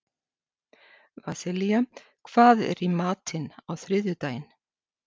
Vasilia, hvað er í matinn á þriðjudaginn?